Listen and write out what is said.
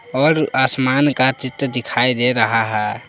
और आसमान का चित्र दिखाई दे रहा है।